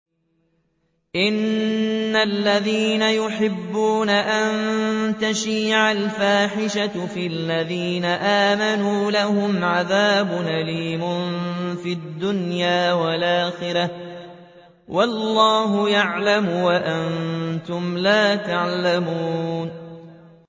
إِنَّ الَّذِينَ يُحِبُّونَ أَن تَشِيعَ الْفَاحِشَةُ فِي الَّذِينَ آمَنُوا لَهُمْ عَذَابٌ أَلِيمٌ فِي الدُّنْيَا وَالْآخِرَةِ ۚ وَاللَّهُ يَعْلَمُ وَأَنتُمْ لَا تَعْلَمُونَ